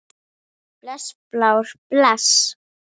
Bless Blár, bless.